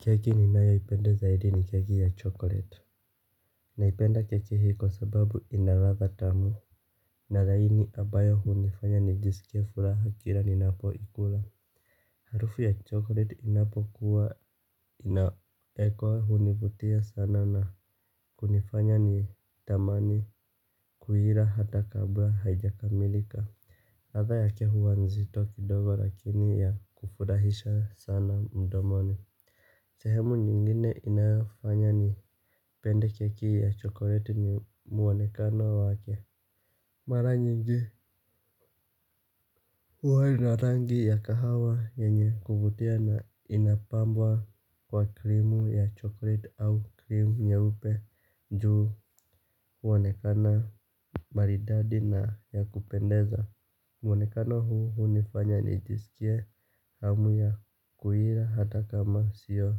Keki ninayoipenda zaidi ni keki ya chokoleti. Naipenda keki hii kwa sababu ina ladha tamu. Na laini abayo hunifanya nijisikie furaha kila ninapoikula. Harufu ya chokoleti inapokuwa inawekwa hunivutia sana na kunifanya ni tamani kuila hata kabla haijakamilika ladha yake huwa nzito kidogo lakini ya kufurahisha sana mdomoni. Sehemu nyingine inayofanya ni pende keki ya chokoreti ni mwonekano wake. Mara nyingi huwa ina rangi ya kahawa yenye kuvutia na inapambwa kwa krimu ya chokoreti au krimu nyeupe juu mwonekano maridadi na ya kupendeza. Mwonekano huu hunifanya nijisikie hamu ya kuila hata kama sio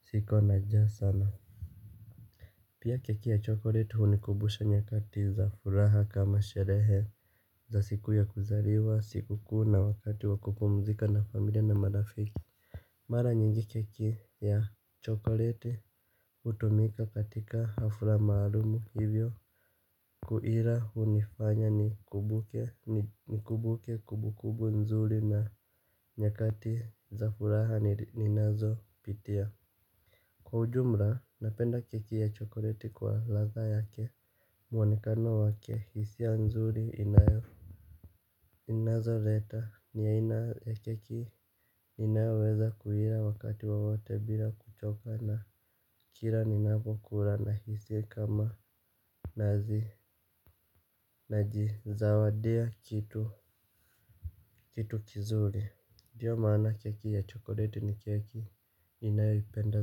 siko na njaa sana. Pia keki ya chokoreti hunikubusha nyakati za furaha kama sherehe za siku ya kuzaliwa siku kuu na wakati wakupumzika na familia na marafiki. Mara nyingi keki ya chokoreti hutumika katika hafla maalumu hivyo kuila hunifanya nikumbuke kumbukumbu nzuri na nyakati za furaha ninazopitia. Kwa ujumla, napenda keki ya chokoreti kwa ladha yake. Mwonekano wake, hisia nzuri inayofu inazoleta, ni aina ya keki inayoweza kuila wakati wowote bila kuchoka na kila ninapokula nahisi kama nazi. Najizawadia kitu kizuri ndio maana keki ya chokoreti ni keki ninayoipenda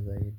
zaidi.